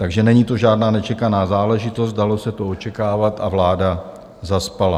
Takže není to žádná nečekaná záležitost, dalo se to očekávat a vláda zaspala.